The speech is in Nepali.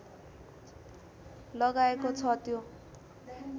लगाएको छ त्यो